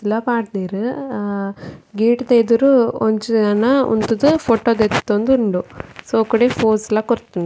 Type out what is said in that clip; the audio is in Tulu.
ಗೇಟ್ ಲ ಪಾಡ್ದೆರ್ ಅ ಗೇಟ್ ದ ಎದುರು ಒಂಜಿ ಜನ ಉಂತುದು ಫೊಟೊ ದೆತ್ತೊಂದುಂಡು ಸೋಕುಡೆ ಪೋಸ್ ಲ ಕೊರ್ಪುಂಡು.